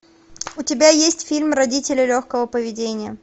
у тебя есть фильм родители легкого поведения